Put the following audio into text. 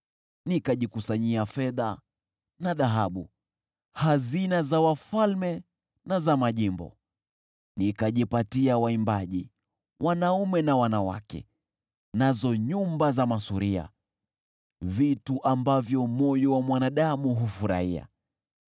Nikajikusanyia fedha na dhahabu, hazina za wafalme na za majimbo. Nikajipatia waimbaji wanaume na wanawake, nazo nyumba za masuria: vitu ambavyo moyo wa mwanadamu hufurahia.